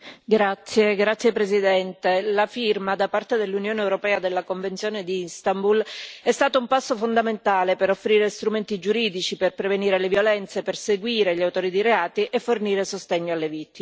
Signor Presidente, onorevoli colleghi, la firma da parte dell'Unione europea della Convenzione di Istanbul è stata un passo fondamentale per offrire strumenti giuridici per prevenire le violenze, perseguire gli autori di reati e fornire sostegno alle vittime.